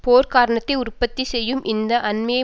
போர்க் காரணத்தை உற்பத்தி செய்யும் இந்த அண்மைய